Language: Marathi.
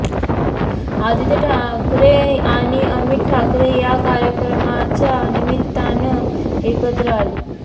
आदित्य ठाकरे आणि अमित ठाकरे या कार्यक्रमाच्या निमित्तानं एकत्र आली